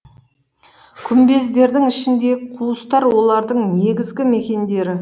күмбездердің ішіндегі қуыстар олардың негізгі мекендері